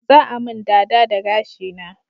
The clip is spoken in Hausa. Za a mun dada da gashi na